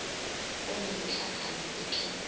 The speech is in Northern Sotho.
o le letlakala e ke